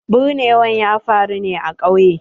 Binnewar ya faru ne a ƙauye.